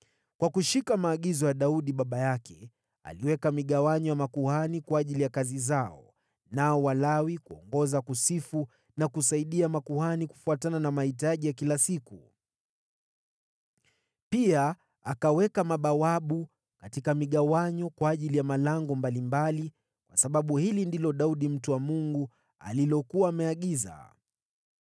Kwa kushika maagizo ya Daudi baba yake, aliweka migawanyo ya makuhani kwa ajili ya kazi zao, nao Walawi kuongoza kusifu na kusaidia makuhani kufuatana na mahitaji ya kila siku. Pia akaweka mabawabu katika migawanyo kwa ajili ya malango mbalimbali, kwa sababu hili ndilo Daudi mtu wa Mungu alilokuwa ameagiza.